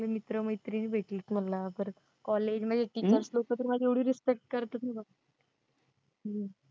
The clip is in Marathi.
मित्र मैत्रिणी भेटलेत मला परत college मध्ये teachers लोकं तर माझी एवढी respect करतात ना हम्म